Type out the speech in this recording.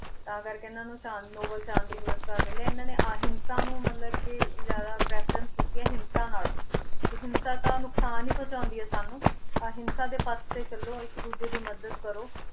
ਤਾਂ ਕਰਕੇੇ ਇਹਨਾਂ ਨੂੰ ਸ਼ਾਂ~ ਨੋਬਲ ਸ਼ਾਂਤੀ ਪੁਰਸਕਾਰ ਮਿਲਿਆ ਇਹਨਾਂ ਨੇ ਅਹਿੰਸਾ ਨੂੰ ਮਤਲਬ ਕਿ ਜ਼ਿਆਦਾ preference ਦਿੱਤੀ ਹੈ ਹਿੰਸਾ ਨਾਲੋਂ, ਕਿ ਹਿੰਸਾ ਤਾਂ ਨੁਕਸਾਨ ਹੀ ਪਹੁੰਚਾਉਂਦੀ ਹੈ ਸਾਨੂੰ, ਅਹਿੰਸਾ ਦੇ ਪੱਥ ਤੇ ਚੱਲੋ, ਇੱਕ ਦੂਜੇ ਦੀ ਮਦਦ ਕਰੋ,